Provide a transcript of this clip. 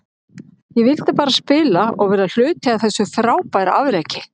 Ég vildi bara spila og vera hluti af þessu frábæra afreki.